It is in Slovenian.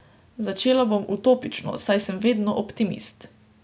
Začela bom utopično, saj sem vedno optimist.